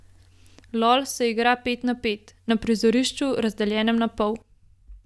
Lol se igra pet na pet, na prizorišču, razdeljenem na pol.